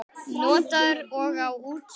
Notaður og á útsölu